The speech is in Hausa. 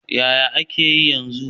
Yaya yake yanzu?